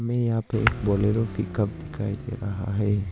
ये यहां पे एक बोलेरो पिकअप का दिख रहा है।